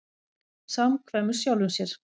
Samkvæmur sjálfum sér.